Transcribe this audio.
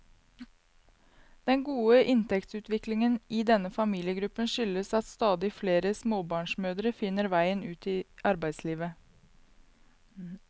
Den gode inntektsutviklingen i denne familiegruppen skyldes at stadig flere småbarnsmødre finner veien ut i arbeidslivet.